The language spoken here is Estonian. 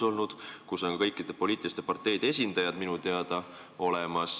Komisjonis on minu teada kõikide poliitiliste parteide esindajad.